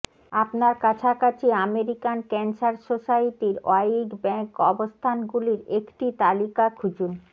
আপনার কাছাকাছি American cancer সোসাইটির ওয়াইগ ব্যাংক অবস্থানগুলির একটি তালিকা খুঁজুন